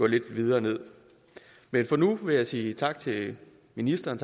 lidt videre med men for nu vil jeg sige tak til ministeren